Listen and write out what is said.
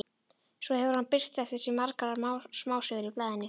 Svo hefur hann birt eftir sig margar smásögur í blaðinu.